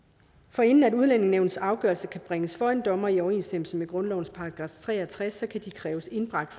forinden udlændingenævnets afgørelser kan bringes for en dommer i overensstemmelse med grundlovens § tre og tres kan de kræves indbragt